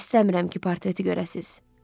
İstəmirəm ki, portreti görəsiz.